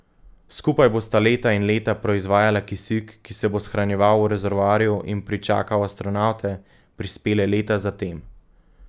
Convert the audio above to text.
Skupaj bosta leta in leta proizvajala kisik, ki se bo shranjeval v rezervoarju in pričakal astronavte, prispele leta zatem.